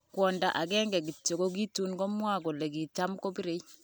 Kwonda agenge kityo kokitun komwa kole kitam kobire.